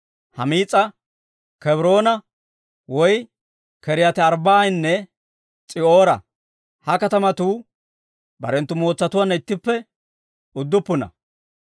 Humis'a, Kebroona woy K'iriyaati-Arbbaa'anne S'i'oora. Ha katamatuu barenttu mootsatuwaanna ittippe udduppuna.